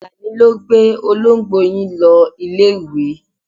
Àlàní ló gbé olóńgbò yín lọ ilé-ìwé.